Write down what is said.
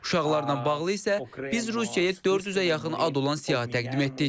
Uşaqlarla bağlı isə biz Rusiyaya 400-ə yaxın ad olan siyahı təqdim etdik.